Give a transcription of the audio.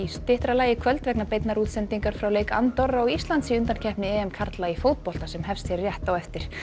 styttra lagi í kvöld vegna beinnar útsendingar frá leik Andorra og Íslands í undankeppni karla í fótbolta sem hefst hér rétt á eftir